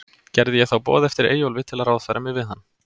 Gerði ég þá boð eftir Eyjólfi, til að ráðfæra mig við hann.